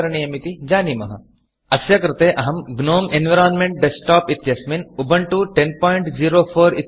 अस्य कृते अहं GNOME environment desktop GNOME environment desktop इत्यस्मिन् उबन्तु 1004उबण्टु १००४ इत्यस्य उपयोगं करोमि